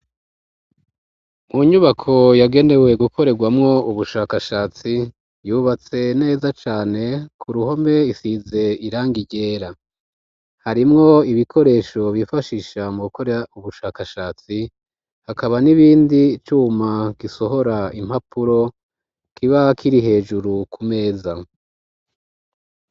Mu nyubako yagenewe gukorerwamo ubushakashatsi yubatse neza cane, ku ruhome isize irangi ryera harimwo ibikoresho bifashisha mu gukorera ubushakashatsi hakaba n'ibindi cuma gisohora impapuro kiba kiri hejuru ku meza.